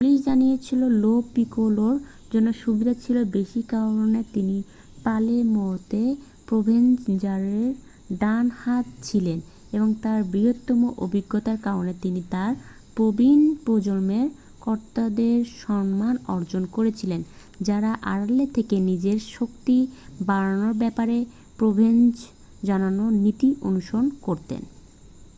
police জানিয়েছে Lo পিকোলোর জন্য সুবিধা ছিল বেশি কারণ তিনি পালের্মোতে প্রোভেনজানোর ডান হাত ছিলেন এবং তার বৃহত্তর অভিজ্ঞতার কারণে তিনি তার প্রবীণ প্রজন্মের কর্তাদের সম্মান অর্জন করেছিলেন যারা আড়ালে থেকে নিজের শক্তি বাড়ানোর ব্যাপারে প্রোভেনজানোর নীতি অনুসরণ করতেন